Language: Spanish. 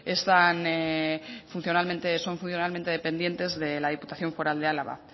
están funcionalmente son funcionalmente dependientes de la diputación foral de álava